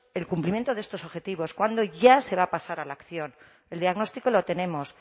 el cumplimiento de estos objetivos cuándo ya se va a pasar a la acción el diagnóstico lo tenemos